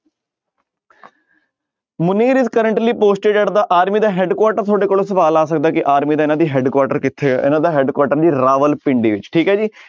Munir is currently posted at the army ਦਾ headquarter ਤੁਹਾਡੇ ਕੋਲ ਸਵਾਲ ਆ ਸਕਦਾ ਹੈ ਕਿ army ਦਾ ਇਹਨਾਂ ਦੀ headquarter ਕਿੱਥੇ ਹੈ ਇਹਨਾਂ ਦਾ headquarter ਹੈ ਜੀ ਰਾਵਲਪਿੰਡੀ ਵਿੱਚ ਠੀਕ ਹੈ ਜੀ